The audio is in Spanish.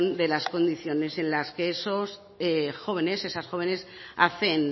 de las condiciones en las que esos jóvenes esas jóvenes hacen